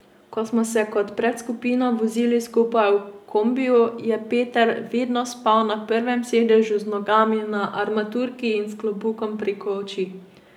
Ko smo se kot predskupina vozili skupaj v kombiju, je Peter vedno spal na prvem sedežu z nogami na armaturki in s klobukom preko oči.